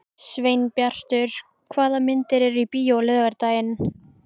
Sveinbjartur, hvaða myndir eru í bíó á laugardaginn?